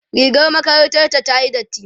rigar makarantar ta tayi dati